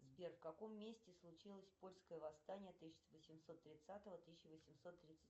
сбер в каком месте случилось польское восстание тысяча восемьсот тридцатого тысяча восемьсот тридцать